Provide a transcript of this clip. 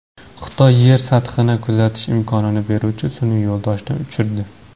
Xitoy Yer sathini kuzatish imkonini beruvchi sun’iy yo‘ldoshni uchirdi.